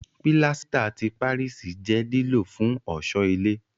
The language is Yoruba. Pílásítà ti Páríìsì jẹ́ lílò fún ọ̀ṣọ́ ilé